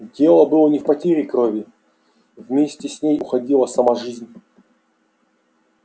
дело было не в потере крови вместе с ней уходила сама жизнь